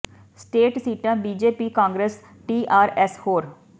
state ਸੀਟਾਂ B J P Congress T R S ਹੋਰ